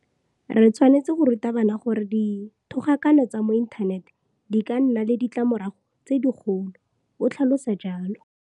Re tshwanetse go ruta bana gore dithogakano tsa mo inthaneteng di ka nna le ditlamorago tse digolo, o tlhalosa jalo.